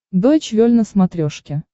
дойч вель на смотрешке